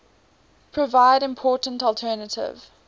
provide important alternative